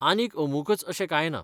आनीक अमुकच अशें कांय ना.